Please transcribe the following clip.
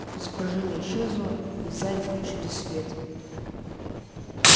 изображение исчезло и в зале включили свет